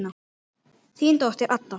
Þín dóttir, Adda.